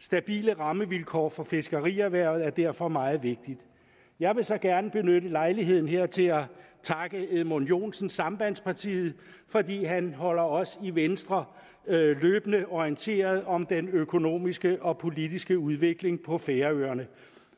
stabile rammevilkår for fiskerierhvervet er derfor meget vigtigt jeg vil så gerne benytte lejligheden her til at takke herre edmund joensen sambandspartiet fordi han holder os i venstre løbende orienteret om den økonomiske og politiske udvikling på færøerne